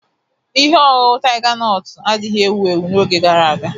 Ihe ọṅụṅụ Taiga nọtu adighị ewu ewu n'oge gara aga.